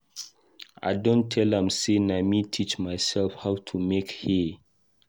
I don tell am sey na me teach myself how to make hair.